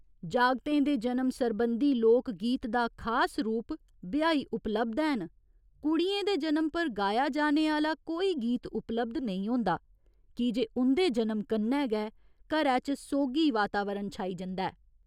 जागतें दे जनम सरबंधी लोक गीत दा खास रूप 'बिहाई' उपलब्ध हैन, कुड़ियें दे जनम पर गाया जाने आह्‌ला कोई गीत उपलब्ध नेईं होंदा कीजे उं'दे जनम कन्नै गै घरै च सोगी वातावरण छाई जंदा ऐ।